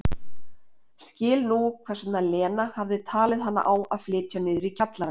Skildi nú hvers vegna Lena hafði talið hana á að flytja niður í kjallarann.